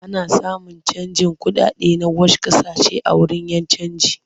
Ana samun canjin kuɗaɗe na wash ƙasashen a wurin 'yan canji.